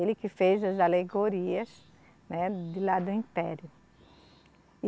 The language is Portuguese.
Ele que fez as alegorias, né, de lá do Império.